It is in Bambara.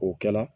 O kɛ la